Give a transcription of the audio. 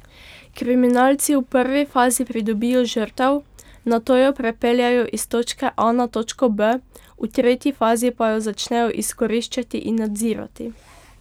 Kriminalci v prvi fazi pridobijo žrtev, nato jo prepeljejo iz točke A na točko B, v tretji fazi pa jo začnejo izkoriščati in nadzirati.